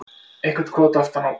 Eitthvert krot aftan á.